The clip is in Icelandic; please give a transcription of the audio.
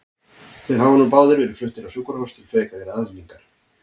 Þeir hafa nú báðir verið fluttir á sjúkrahús til frekari aðhlynningar.